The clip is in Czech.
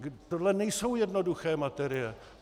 Tohle nejsou jednoduché materie.